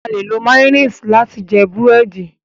A le lò mayonnaise lati jẹ burẹdi